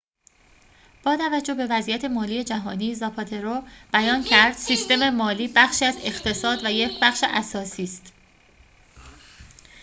با توجه به وضعیت مالی جهانی زاپاترو بیان کرد سیستم مالی بخشی از اقتصاد و یک بخش اساسی است